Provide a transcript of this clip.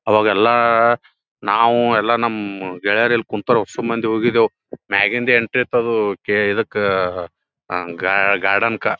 ಅವಾಗ ಎಲ್ಲ ನಾವು ಎಲ್ಲ ನಮ್ಮ್ ಗೆಳೆಯರ ಇಲ್ಲ ಕುಂತೊರು ಹೊಸ ಮಂದಿ ಹೋಗಿದ್ದೆವ್ ಮ್ಯಾಗಿನ್ ಎಂಟ್ರಿ ಇತ್ತ ಕೆ ಇದಕ್ಕ ಗಾರ್ಡೆನ್ಕ್ಕಾ --